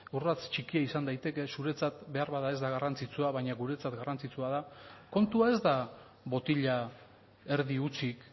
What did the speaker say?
urrats txikia izan daiteke zuretzat beharbada ez da garrantzitsua baina guretzat garrantzitsua da kontua ez da botila erdi hutsik